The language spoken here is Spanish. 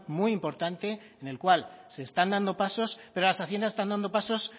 muy importante en el cual se están dando pasos pero las haciendas están dando pasos